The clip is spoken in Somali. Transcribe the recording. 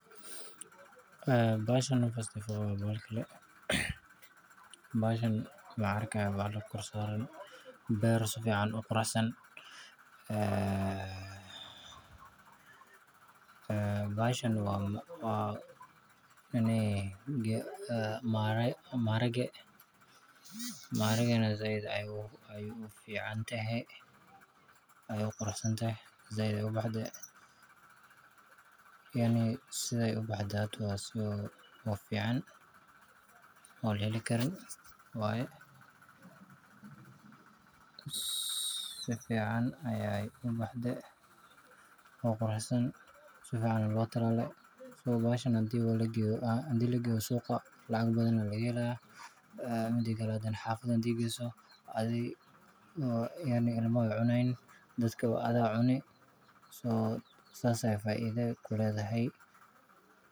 Bahashan horta first of all waa bashi kale. Bahashan waxaan arkayaa bahal kor saaran beer si fiican u quruxsan. Bahashan waa maharage, maharagana si weyn ayay u fiicantahay, ayeyna u quruxsan tahay, si fiican ayey u baxday. Sidee hadda u baxday? Waa si fiican oo la heli karo. Si fiican ayey u baxday oo quruxsan, si fiican ayaa loo tallaalay. Bahashan haddii la geeyo suuqa lacag badan ayaa laga helayaa. Xaafadda hadda geyso, dad iyo ilmaha way cunayaan. Sidaas ayay faa’iido u leedahay.